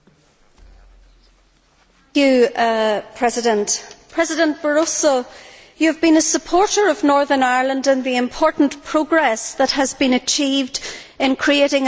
President Barroso, you have been a supporter of Northern Ireland and the important progress that has been achieved in creating a stable and peaceful future for our people.